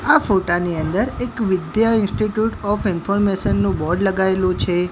આ ફોટા ની અંદર એક વિધ્યા ઇન્સ્ટિટ્યૂટ ઓફ ઇન્ફોર્મેશન નુ બોર્ડ લગાઇલુ છે.